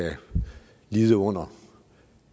lide under